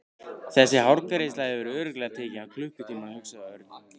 Þessi hárgreiðsla hefur örugglega tekið hann klukkutíma hugsaði Örn.